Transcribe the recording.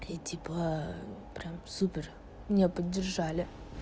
и типа прям супер меня поддержали